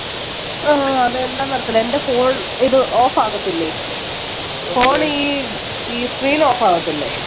ആ അത് എന്നാന്നറിയത്തില്ല എൻറെ phone ഇത് off ആകത്തില്ലേ phone ഈ screen off ആവത്തില്ലേ